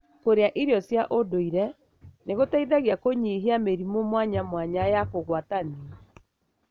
Kũrĩa irio cia ũnduire nĩgũteithagia kũnyihia mĩrimũ mwanya mwanya ya kũgwatanio.